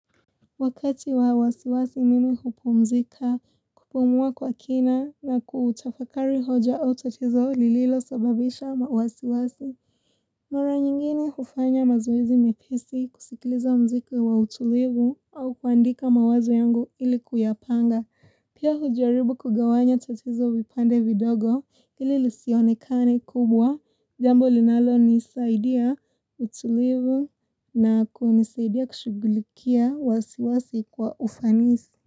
Wakati wa wasiwasi mimi hupumzika, kupumua kwa kina na kutafakari hoja au tatizo lililo sababisha mawasiwasi. Mara nyingini hufanya mazoezi mepesi kusikiliza mziki wa utulivu au kuandika mawazo yangu ili kuyapanga. Pia hujaribu kugawanya tatizo vipande vidogo ili lisionekane kubwa jambo linalo nisaidia utulivu na kunisaidia kushughulikia wasiwasi kwa ufanisi.